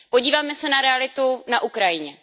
Podívejme se na realitu na Ukrajině.